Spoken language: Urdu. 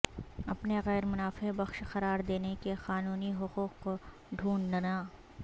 اپنے غیر منافع بخش قرار دینے کے قانونی حقوق کو ڈھونڈنا